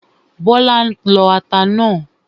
Bọ́lá ń lọ ata náà